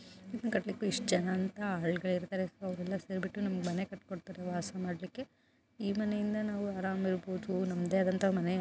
ಗಳಿಕೆ ಎಷ್ಟು ಜನ ಇದ್ದಾರೆ ಅವರೆಲ್ಲ ಸೇರಿ ಬಿಟ್ಟು ನಮ್ಮ ಮನೆ ಕಟ್ಟಿಕೊಂಡು ವಾಸ ಮಾಡಕ್ಕೆ ಈ ಮನೆಯಿಂದ ನಾವು ಆರಾಮ ಇರಬಹುದು ನಮ್ಮದೇ ಆದಂತ ಮನೆ.